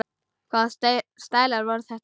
Hvaða stælar voru þetta?